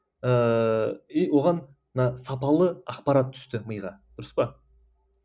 ыыы и оған мына сапалы ақпарат түсті миға дұрыс па